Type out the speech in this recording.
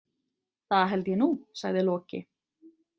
Það held ég nú, sagði Loki.